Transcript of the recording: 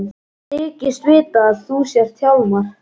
Ég þykist vita að þú sért Hjálmar.